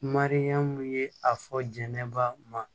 Mariyamu ye a fɔ jɛnɛba ma